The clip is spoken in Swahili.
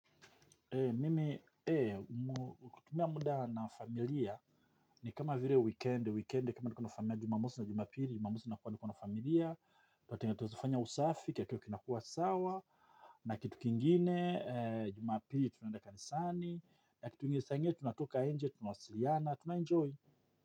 Mimi, kutumia muda na familia, ni kama vire weekendi, weekendi kama niko na familia, jumamosi na jumapili, jumamosi nakuwa niko na familia Tata inga tozifanya usafiki ya kio kinakua sawa, na kitu kingine, jumapiri tunaenda kanisani. Na kitu ingene saa ingine, tunatoka nje, tunasiriana, tunaenjoy.